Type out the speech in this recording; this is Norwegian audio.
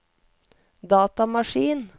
datamaskin